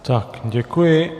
Tak, děkuji.